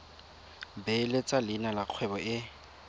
beeletsa leina la kgwebo e